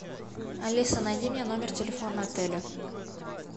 алиса найди мне номер телефона отеля